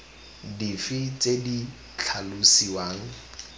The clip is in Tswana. dife tse di ka tlhalosiwang